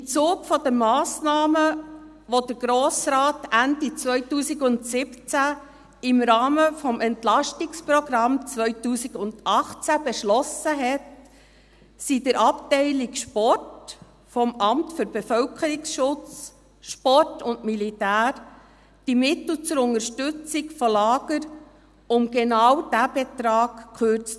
Im Zuge der Massnahmen, die der Grosse Rat Ende 2017 im Rahmen des EP 2018 beschlossen hat, wurden die Mittel zur Unterstützung von Lagern in der Abteilung Sport des Amts für Bevölkerungsschutz, Sport und Militär um genau diesen Betrag gekürzt.